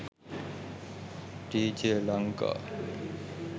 djlanka